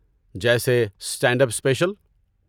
جیسے stand up special.